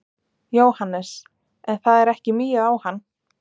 Jóhannes: En það er ekki migið á hann?